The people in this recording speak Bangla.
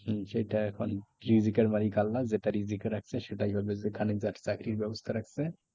হম সেটা এখন রিজিকের মালিক আল্লাহ যেটা রিজিক এ রাখছে সেটাই হবে যে খানে যার চাকরির ব্যবস্থা রাখছে